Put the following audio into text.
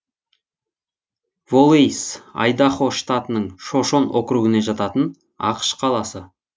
волэйс айдахо штатының шошон округіне жататын ақш қаласы